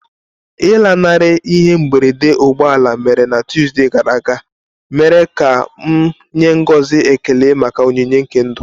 Ịlanarị ihe mberede ụgbọ ala mere na Tuesday gara aga mere ka m nye ngọzi ekele maka onyinye nke ndụ.